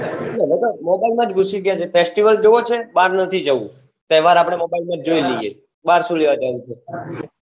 હવે તો mobile માં જ ગુશી ગયાછે festival જોવો છે બાર નથી જાઉં તેહવાર આપડે mobile માં જ જોઈ લઈએ બાર સુ લેવા જાઉં છે